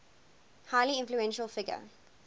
highly influential figure